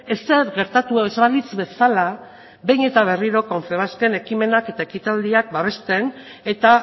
ezer gertatu ez balitz bezala behin eta berrio confebasken ekimenak eta ekitaldiak babesten eta